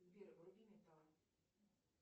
сбер вруби металл